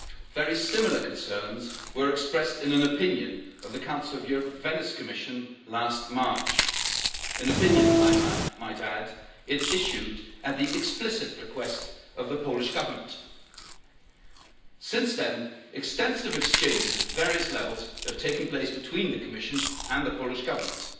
Very similar concerns were expressed in an opinion of the Council of Europe Venice Commission last March, an opinion, I might add, that it issued at the explicit request of the Polish Government. Since then extensive exchanges at various levels have taken place between the Commission and the Polish Government.